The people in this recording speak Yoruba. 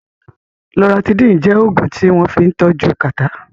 Loratidín jẹ́ Ògùn tí wọ́n fín tọ́jú kàtá